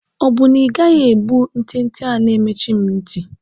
Ọ bụ na ị gaghị ebu ntente a na-emechi m nti?